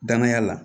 Danaya la